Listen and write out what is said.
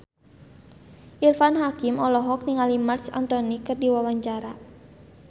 Irfan Hakim olohok ningali Marc Anthony keur diwawancara